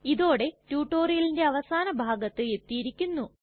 ഇതോടെ റ്റ്റുറ്റൊരിയലിന്റെ അവസാന ഭാഗത്ത് എത്തിയിരിക്കുന്നു